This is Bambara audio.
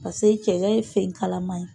Paseke cɛgɛ ye fɛn kalama ye